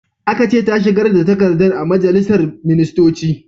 Aka ce ta shigar da takardar a majalisar ministoci!